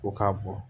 Ko k'a bɔ